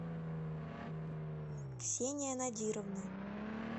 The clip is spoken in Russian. ксения надировна